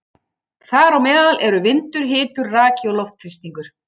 Þar á meðal eru vindur, hiti, raki og loftþrýstingur.